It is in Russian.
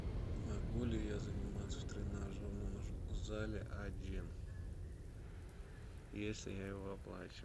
могу ли я заниматься в тренажерном зале один если я его оплачиваю